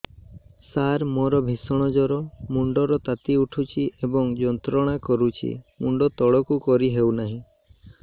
ସାର ମୋର ଭୀଷଣ ଜ୍ଵର ମୁଣ୍ଡ ର ତାତି ଉଠୁଛି ଏବଂ ଯନ୍ତ୍ରଣା କରୁଛି ମୁଣ୍ଡ ତଳକୁ କରି ହେଉନାହିଁ